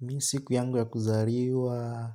Mimi siku yangu ya kuzaliwa,